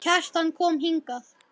Kjartan kom hingað.